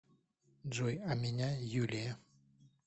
джой а меня юлия